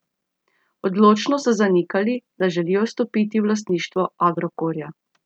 Odločno so zanikali, da želijo vstopiti v lastništvo Agrokorja.